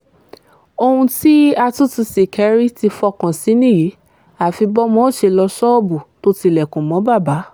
ṣùgbọ́n ṣàfù kò jẹ́ kí bàbá yọjú síta